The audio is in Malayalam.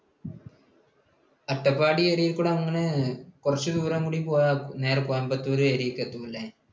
അട്ടപ്പാടി area യിൽ കൂടി അങ്ങനെ കുറച്ചു ദൂരം കൂടി പോയാൽ വേറെ കോയമ്പത്തൂർ area യിലേക്ക് എത്തും അല്ലേ?